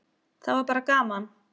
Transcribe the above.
Það var bara gaman!